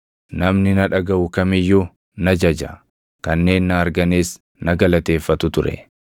Namni na dhagaʼu kam iyyuu na jaja; kanneen na arganis na galateeffatu ture;